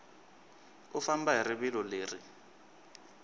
u famba hi rivilo leri